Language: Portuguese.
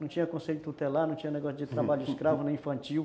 Não tinha conceito de tutelar, não tinha negócio de trabalho escravo, nem infantil.